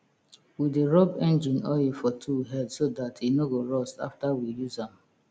we dey rub engine oil for tool head so dat e no go rust after we use am